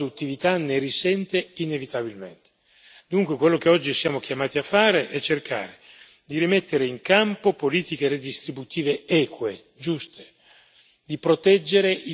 Dunque, quello che oggi siamo chiamati a fare è cercare di rimettere in campo politiche redistributive eque, giuste, di proteggere i più deboli e di lottare contro la povertà.